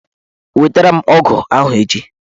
Wetara m ọgụ ahụ echi!